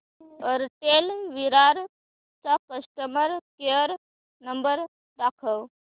Airtel Virar चा customer care number दाखव